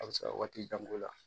A bɛ se ka waati jan k'o la